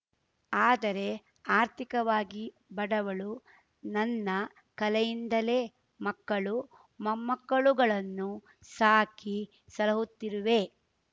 ಆದರೆ ಆರ್ಥಿಕವಾಗಿ ಬಡವಳು ನನ್ನ ಕಲೆಯಿಂದಲೇ ಮಕ್ಕಳು ಮೊಮ್ಮಕ್ಕಳುಗಳನ್ನು ಸಾಕಿ ಸಲಹುತ್ತಿರುವೆ